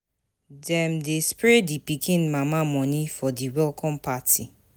Dem dey spray di pikin mama moni for di welcome party.